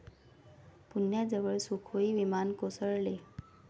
पुण्याजवळ सुखोई विमान कोसळले